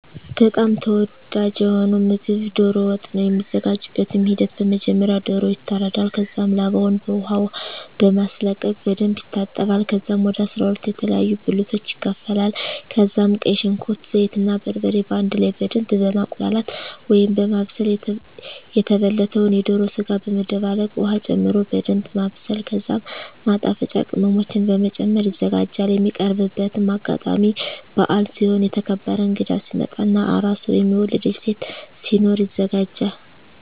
በጣም ተወዳጂ የሆነዉ ምግብ ዶሮ ወጥ ነዉ። የሚዘጋጅበትም ሂደት በመጀመሪያ ዶሮዉ ይታረዳል ከዛም ላባዉን በዉቅ ዉሃ በማስለቀቅ በደንብ ይታጠባል ከዛም ወደ 12 የተለያዩ ብልቶች ይከፋፈላል ከዛም ቀይ ሽንኩርት፣ ዘይት እና በርበሬ በአንድ ላይ በደምብ በማቁላላት(በማብሰል) የተበለተዉን የዶሮ ስጋ በመደባለቅ ዉሀ ጨምሮ በደንምብ ማብሰል ከዛም ማጣፈጫ ቅመሞችን በመጨመር ይዘጋጃል። የሚቀርብበትም አጋጣሚ በአል ሲሆን፣ የተከበረ እንግዳ ሲመጣ እና አራስ (የወለደች ሴት) ሲኖር ይዘጋጃል።